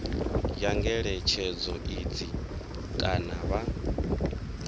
ya ngeletshedzo idzi kana vha